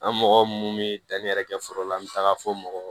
An mɔgɔ mun bɛ danni yɛrɛ kɛ foro la an bɛ taga fo mɔgɔ